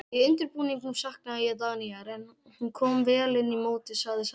Í undirbúningnum saknaði ég Dagnýjar en hún kom vel inn í mótið sagði Sara Björk.